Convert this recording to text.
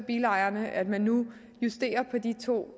bilejerne at man nu justerer på de to